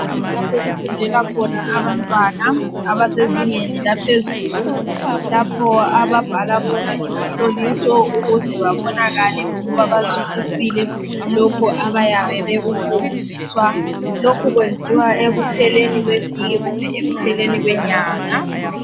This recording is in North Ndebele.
Indawo lapho okufundela khona abantwana abasezingeni laphezulu lapho ababhala khona imihloliso ukuze babonakale ukuba bazwisisile lokho abayabe bekufundiswa. Lokhu kwenziwa ekupheleni kweviki kumbe ekupheleni kwenyanga.